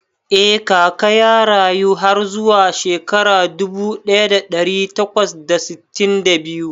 Eh Kaka ya rayu har zuwa shekara dubu ɗaya da ɗari takwas da sittin da biyu